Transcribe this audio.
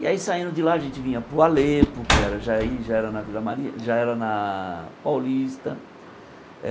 E aí, saindo de lá, a gente vinha para o Alepo, que já i já era na Vila mari já era na Paulista.